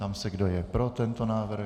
Ptám se, kdo je pro tento návrh?